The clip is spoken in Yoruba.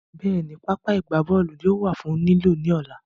Bẹ́ẹ̀ni, pápá ìgbábọ́ọ̀lù náà yóò wà fún lílò ní ọ̀la